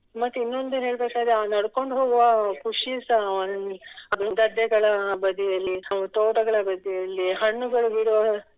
ಮತ್ತೆ ಇನ್ನೊಂದು ಏನ್ ಹೇಳ್ಬೇಕಾದರೆ ನಡ್ಕೊಂಡು ಹೋಗುವ ಖುಷಿಸ ಗದ್ದೆಗಳ ಬದಿಯಲ್ಲಿ ತೋಟಗಳ ಬದಿಯಲ್ಲಿ ಹಣ್ಣುಗಳು ಬಿಡುವ